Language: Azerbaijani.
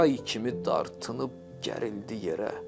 Yay kimi dartınıb gərildi yerə.